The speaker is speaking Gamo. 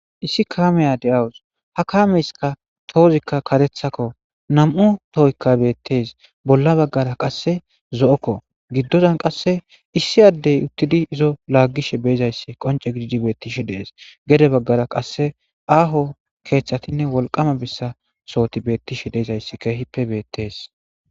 issi kaameya de7awus ha kaameyska toozikka katethakko nam7u tohoykka beettees bolla baggara qasse zo7okko giddodan qasse issi addey uttidi izo laaggishe beezayssi qonce gididi beettishe dees gede baggara qasse aaho keeththatinne wolqama bessa sooti beettishe deezayssi keehippe beettees